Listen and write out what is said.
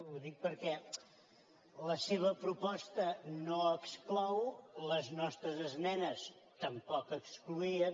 ho dic perquè la seva proposta no exclou les nostres esmenes tampoc excloïen